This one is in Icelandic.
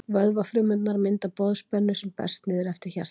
vöðvafrumurnar mynda boðspennu sem berst niður eftir hjartanu